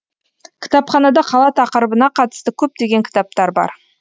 кітапханада қала тақырыбына қатысты көптеген кітаптар бар